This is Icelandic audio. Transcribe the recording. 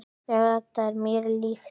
Já, þetta er mér líkt.